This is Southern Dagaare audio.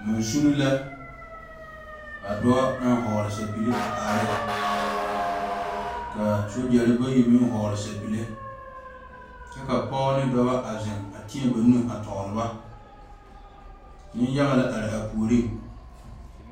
Mansune la ka dɔɔ naŋ vɔgle sapige a are ne ka a sogyɛre bayi meŋ vɔgle sapige kyɛ ka pɔgeba ane dɔba a zeŋ teɛ ba nu a tɔgle ba nenyaga are a puoriŋ.